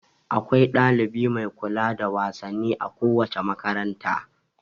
Akwai dalibi mai kula da wasanni a kowace makaranta.